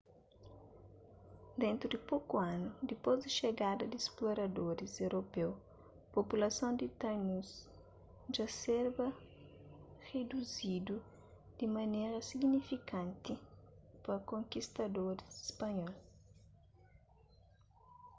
dentu di poku anu dipôs di xegada di sploradoris europeu populason di tainus dja serba riduzidu di manera signifikanti pa konkistadoris spanhol